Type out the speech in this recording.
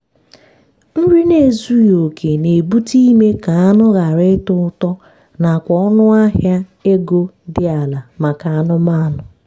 nri n'ezughi oke na-ebute ime ka anụ ghara ịtọ ụtọ na kwa ọnụ ahịa ego dị ala maka anụmanụ.